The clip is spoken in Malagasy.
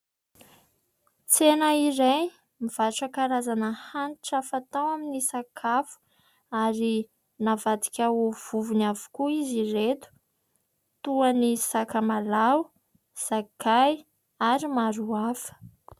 Tsena iray mivarotra karazana hanitra fatao amin'ny sakafo ary navadika ho vovony avokoa izy ireto toa ny sakamalaho, sakay ary maro hafa.